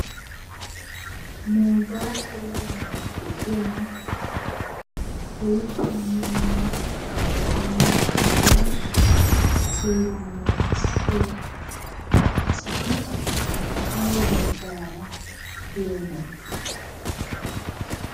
Nuugan heeran de'iya minonne wolqqaama gidida seeraa naagissiya asati awa baggaara diyonaa?